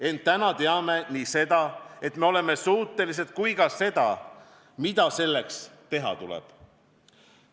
Ent täna teame nii seda, et me oleme selleks suutelised, kui ka seda, mida selleks teha tuleb.